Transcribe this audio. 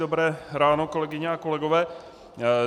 Dobré ráno, kolegyně a kolegové.